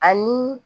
Ani